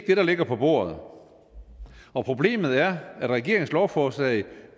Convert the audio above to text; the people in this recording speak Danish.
det der ligger på bordet og problemet er at regeringens lovforslag